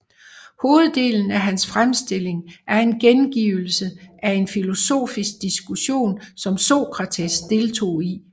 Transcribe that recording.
Hoveddelen af hans fremstilling er en gengivelse af en filosofisk diskussion som Sokrates deltog i